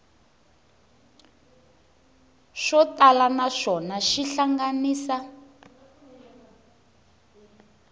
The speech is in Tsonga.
swo tala naswona xi hlanganisa